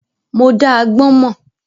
Mo dá agbọ́n mọ́.